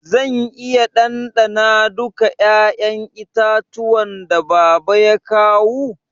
Zan iya dandana duka 'ya'yan itatuwan da baba ya kawu?